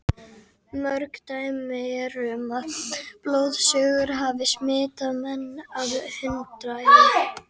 Mörg dæmi eru um það að blóðsugur hafi smitað menn af hundaæði.